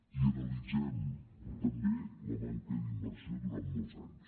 i analitzem també la manca d’inversió durant molts anys